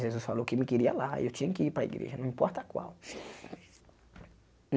Jesus falou que me queria lá e eu tinha que ir para a igreja, não importa qual.